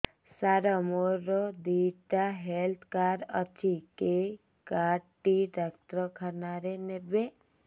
ସାର ମୋର ଦିଇଟା health card ଅଛି କେ କାର୍ଡ ଟି ଡାକ୍ତରଖାନା ରେ ନେବେ